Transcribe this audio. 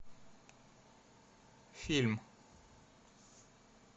фильм